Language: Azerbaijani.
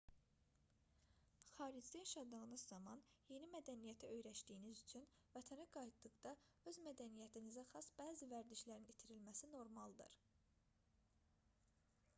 xaricdə yaşadığınız zaman yeni mədəniyyətə öyrəşdiyiniz üçün vətənə qayıtdıqda öz mədəniyyətinizə xas bəzi vərdişlərin itirilməsi normaldır